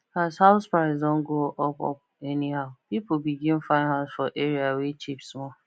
as house price don go up up anyhow people begin find house for area wey cheap small